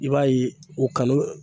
I b'a ye o kanu